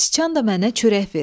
Sıçan da mənə çörək verir.